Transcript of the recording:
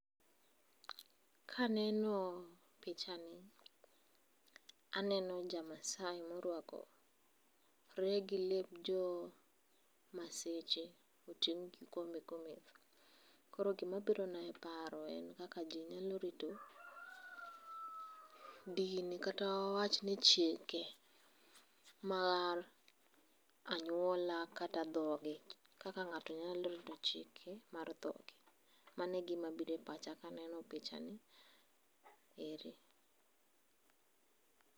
Kaneno pichani aneno jamasai ma oruakore gi lep joo maseche otingo' kikombe kometho koro gimabirona ep paro en kaka ji nyalo rito dini kata wawachni chike mar anyuola kata dhogi kaka ngato nyalo rito chike mar thogi mano e gima biro e pacha ka aneno pichani ere